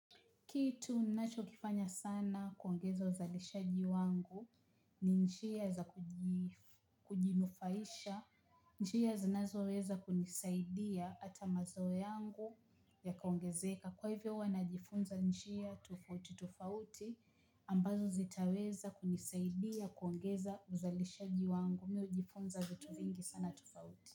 Kitu ninachokifanya sana kuongeza uzalishaji wangu ni njia za kujinufaisha, njia zi nazoweza kunisaidia hata mazao yangu yakaongezeka. Kwa hivyo huwa najifunza njia tofauti tofauti ambazo zitaweza kunisaidia kuongeza uzalishaji wangu mi hujifunza vitu vingi sana tofauti.